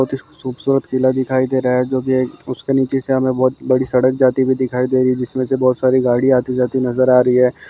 बहुत हि खूप सूरत मेला दिखाई दे रहा है जोकि एक उसके नीचे से हमे बहोत बड़ी सड़क जाती हुई दिखाई दे रही जिसमेसे बहोत सारी गाड़ी आती जाती नज़र आ रही है।